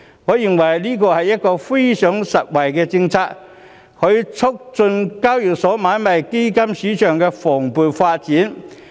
我認為這是非常實惠的政策，可促進交易所買賣基金市場的蓬勃發展。